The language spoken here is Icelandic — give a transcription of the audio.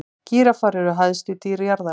gíraffar eru hæstu dýr jarðarinnar